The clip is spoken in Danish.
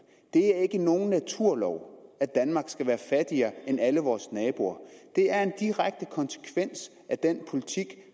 er ikke nogen naturlov at danmark skal være fattigere end alle vores naboer det er en direkte konsekvens af den politik